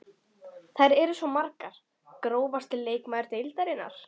Þær eru svo margar Grófasti leikmaður deildarinnar?